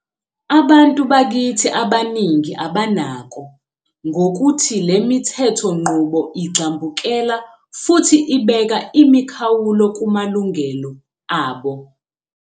.abantu bakithi abaningi abanako ngokuthi le mithethonqubo igxambukela futhi ibeka imikhawulo kumalungelo abo.